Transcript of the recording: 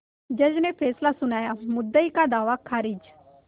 जज ने फैसला सुनायामुद्दई का दावा खारिज